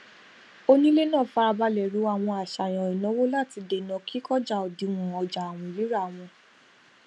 onílé náà farabalẹ ro àwọn àṣàyàn ìnáwó láti dènà kí kọjá òdiwọn ọjà àwìn rírà wọn